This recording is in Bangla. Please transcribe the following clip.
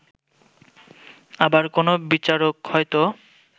আবার কোন বিচারক হয়তো